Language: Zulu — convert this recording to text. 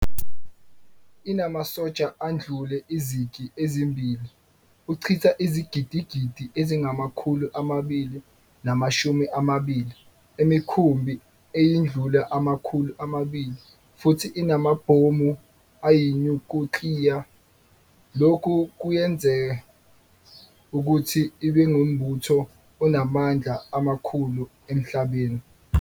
Inamasotsha andlula izigi ezimbili, uchitha izigidigi ezingamakhulu amabili namashumi amabili, emikhumbi eyindlula amakhulu amabili futhi inama-bhomu ayinyukliya - lokhu kuyenza ukuthi ibengumbutho onamandla amakhulu emhlabeni.